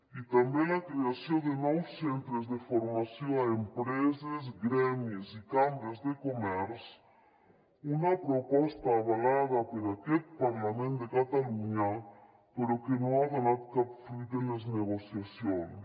i també la creació de nous centres de formació a empreses gremis i cambres de comerç una proposta avalada per aquest parlament de catalunya però que no ha donat cap fruit en les negociacions